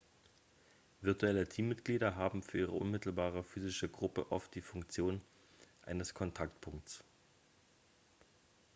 virtuelle teammitglieder haben für ihre unmittelbare physische gruppe oft die funktion eines kontaktpunkts